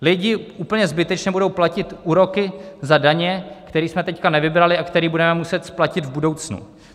Lidi úplně zbytečně budou platit úroky za daně, které jsme teď nevybrali a které budeme muset splatit v budoucnu.